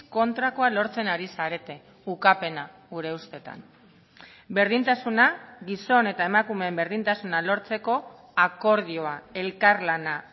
kontrakoa lortzen ari zarete ukapena gure ustetan berdintasuna gizon eta emakumeen berdintasuna lortzeko akordioa elkarlana